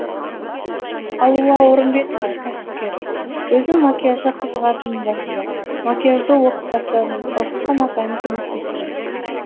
алуа орымбетова кәсіпкер өзім макияжға қызығатынмын басында макияжды оқып бастадым оқытқан апайым көмектесті